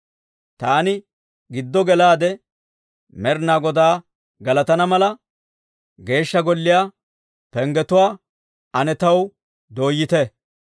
Taani giddo gelaade Med'inaa Godaa galatana mala, Geeshsha Golliyaa penggetuwaa ane taw dooyite.